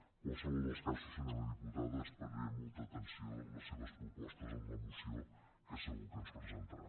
en qualsevol dels casos senyora diputada esperaré amb molta atenció les seves propostes en la moció que segur que ens presentarà